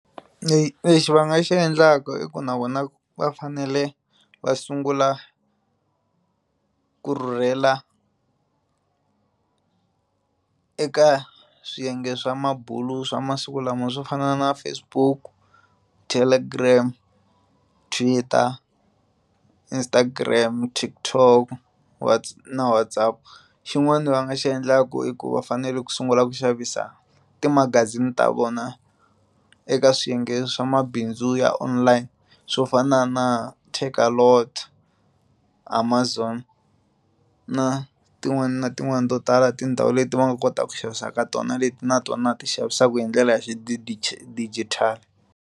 Lexi va nga xi endlaka i ku na vona va fanele va sungula ku rhurhela eka swiyenge swa mabulo swa masiku lama swo fana na Facebook Telegram Twitter Instagram Tik-Tok na Whatsapp xin'wana va nga xi endlaka i ku va fanele ku sungula ku xavisa timagazini ta vona eka swiyenge swa mabindzu ya online swo fana na Takealot Amazon na tin'wani na tin'wani to tala tindhawu leti va nga kotaka ku xavisa ka tona leti na tona ti xavisaka hi ndlela ya xidijitali.